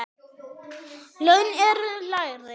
Laun eru lægri.